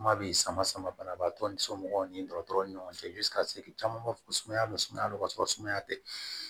Kuma bi sama sama banabaatɔ ni somɔgɔw ni dɔgɔtɔrɔ ni ɲɔgɔn cɛ caman b'a fɔ ko sumaya be sumaya ka sɔrɔ sumaya tɛ